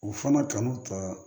U fana kanu ka